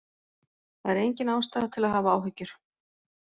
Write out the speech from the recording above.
Það er engin ástæða til að hafa áhyggjur.